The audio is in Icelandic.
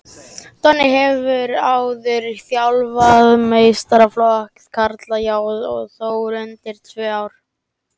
Donni hefur áður þjálfað meistaraflokk karla hjá Þór undanfarin tvö ár.